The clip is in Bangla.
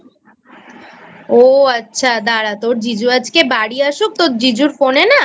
ও আচ্ছা দাঁড়া তোর জিজু আজকে বাড়ি আসুক তোর জিজুর Phone এ না